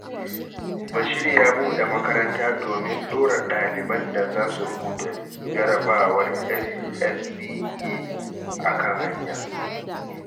Bashir ya buɗe makaranta domin ɗora ɗaliban da za su rubuta Jarrabawar SSCE a kan hanya.